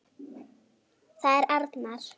Það er arnar.